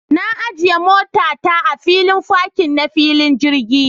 Na ajiya mota ta a filin fakin na filin jirgi.